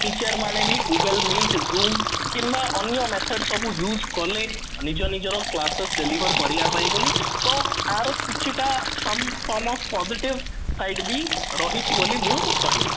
teacher ମାନେ ବି google meet zoom କିମ୍ବା ଅନ୍ୟ methods ସବୁ use କଲେ ନିଜ ନିଜର classes deliver କରିବା ପାଇଁ ତ ୟାର କିଛି ଟା some of positive side ବି ରହିଛି ବୋଲି ମୁଁ କହିବି